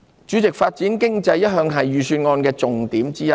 主席，發展經濟一向是預算案的重點之一。